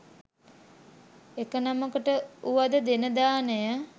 එක නමකට වුවද දෙන දානය